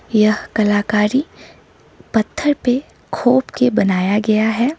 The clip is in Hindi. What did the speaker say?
यह कलाकारी पत्थर पे खोप के बनाया गया है।